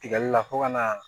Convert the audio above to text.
Tigɛli la fo ka na